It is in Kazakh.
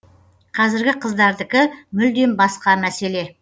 қазіргі қыздардікі мүлдем басқа мәселе